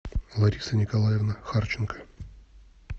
лариса николаевна харченко